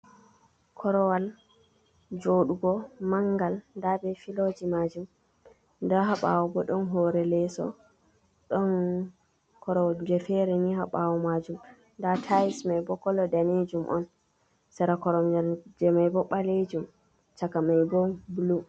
Korowal joɗugo mangal, nda be filoji majum nda haa ɓawo bo ɗon hore leso, ɗon koromje fere ni haɓawo majum, nda tais mai bo kolo danejum on, sera korom je maibo ɓalejum chaka mai bo bulu.